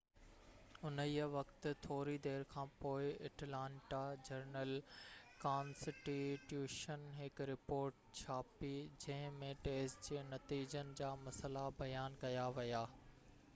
انهيءِ وقت ٿوري دير کانپوءِ اٽلانٽا جرنل ڪانسٽي ٽيوشن هڪ رپورٽ ڇاپي جنهن ۾ ٽيسٽ جي نتيجن جا مسئلا بيان ڪيا ويا